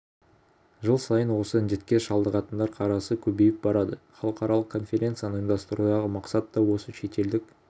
жыл сайын осы індетке шалдығатындар қарасы көбейіп барады халықаралық конференцияны ұйымдастырудағы мақсат та осы шетелдік